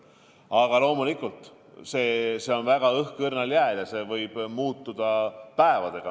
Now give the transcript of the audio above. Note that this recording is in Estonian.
Aga loomulikult on kõik praegu väga õhkõrnal jääl ja olukord võib muutuda päevadega.